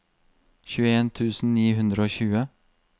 tjueen tusen ni hundre og tjue